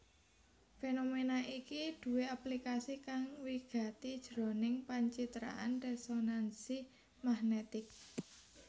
Fénoména iki duwé aplikasi kang wigati jroning pancitraan résonansi magnètik